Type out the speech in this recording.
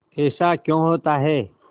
ऐसा क्यों होता है